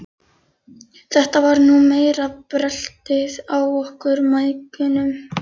Þetta var nú meira bröltið á okkur mæðginunum.